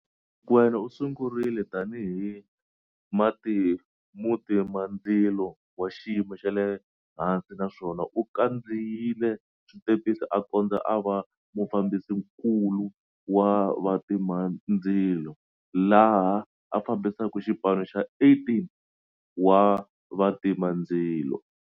Mokoena u sungurile tanihi mutimandzilo wa xiyimo xa le hansi naswona u khandziyile switepisi a kondza a va mufambisinkulu wa vatimandzilo, laha a fambisaka xipano xa 18 wa vatimandzilo.